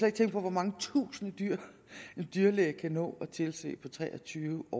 ikke tænke på hvor mange tusinde dyr en dyrlæge kan nå at tilse på tre og tyve